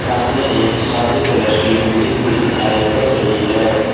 सामने एक सादे कलर की बिल्डिंग भी दिखाई पड़ रही है।